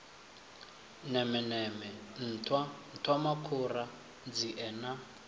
nemeneme nṱhwa nṱhwamakhura nzie na